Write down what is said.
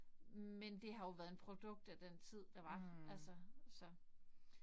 Men det har jo været en produkt af den tid der var altså så